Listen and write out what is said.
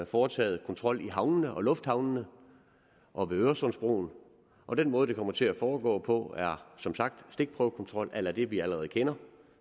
foretaget kontrol i havnene og lufthavnene og ved øresundsbroen og den måde det kommer til at foregå på er som sagt stikprøvekontrol a la det vi allerede kender